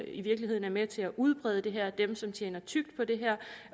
i virkeligheden er med til at udbrede det her dem som tjener tykt på det her